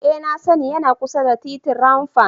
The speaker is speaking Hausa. Ee nmna sani, yana kusa da titin Rwang Pam.